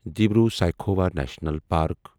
Dibru Saikhowa national park